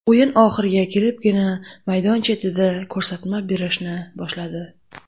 O‘yin oxiriga kelibgina maydon chetida ko‘rsatma berishni boshladi.